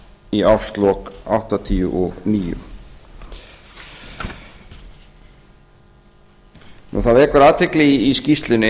í árslok áttatíu og níu það vekur athygli í skýrslunni